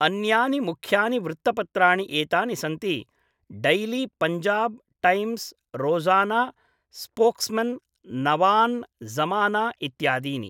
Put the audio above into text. अन्यानि मुख्यानि वृत्तपत्राणि एतानि सन्ति Daily Punjab Times, Rozana Spokesman, Nawan Zamana इत्यादीनि।